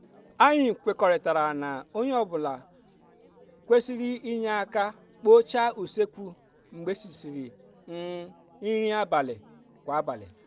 anyị kwekọrịtara na onye ọ bụla kwerisịr inye aka kpochaa usekwu mgbe erisịrị um nri abalị kwa abalị